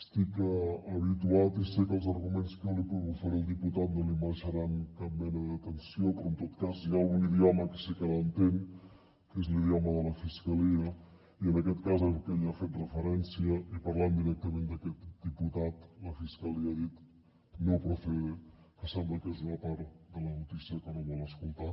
estic habituat i sé que els arguments que jo li puc oferir al diputat no li mereixeran cap mena d’atenció però en tot cas hi ha un idioma que sí que l’entén que és l’idioma de la fiscalia i en aquest cas que hi ha fet referència i parlant directament d’aquest diputat la fiscalia ha dit no procede que sembla que és una part de la notícia que no vol escoltar